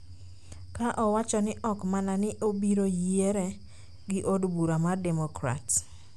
ka owacho ni ok mana ni obiro yiere gi od bura mar Demokrats,